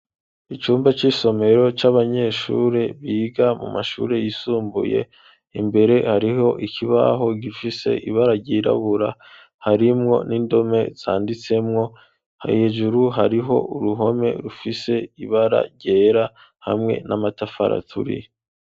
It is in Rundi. Icumba c'isomero c'abanyeshure biga mu mashuri yisumbuye imbere hariho ikibaho gifise ibara ryirabura harimwo n'indome zanditsemwo hejuru hariho uruhome rufise ibara ryera hamwe n'amatafari aturiye.